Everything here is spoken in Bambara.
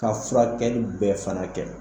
Ka furakɛli bɛɛ fana kɛ